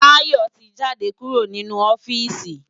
Tayo ti jádé kúró ninú ofìsí